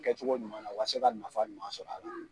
Kɛ cogo ɲuman na wasa e ka nafa ɲuman sɔrɔ a la